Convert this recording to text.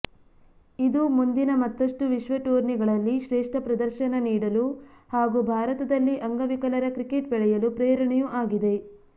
ಇದು ಮುಂದಿನ ಮತ್ತಷ್ಟು ವಿಶ್ವ ಟೂರ್ನಿಗಳಲ್ಲಿ ಶ್ರೇಷ್ಠ ಪ್ರದರ್ಶನ ನೀಡಲು ಹಾಗೂ ಭಾರತದಲ್ಲಿ ಅಂಗವಿಕಲರ ಕ್ರಿಕೆಟ್ ಬೆಳೆಯಲು ಪ್ರೇರಣೆಯೂ ಆಗಿದೆ